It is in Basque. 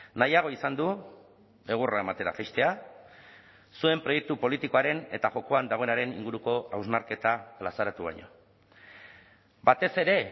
nahiago izan du egurra ematera jaistea zuen proiektu politikoaren eta jokoan dagoenaren inguruko hausnarketa plazaratu baino batez ere